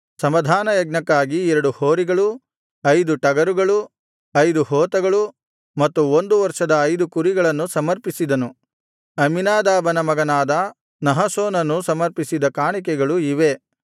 ಸಮಾಧಾನಯಜ್ಞಕ್ಕಾಗಿ ಎರಡು ಹೋರಿಗಳು ಐದು ಟಗರುಗಳು ಐದು ಹೋತಗಳು ಮತ್ತು ಒಂದು ವರ್ಷದ ಐದು ಕುರಿಗಳನ್ನು ಸಮರ್ಪಿಸಿದನು ಅಮ್ಮೀನಾದಾಬನ ಮಗನಾದ ನಹಶೋನನು ಸಮರ್ಪಿಸಿದ ಕಾಣಿಕೆಗಳು ಇವೇ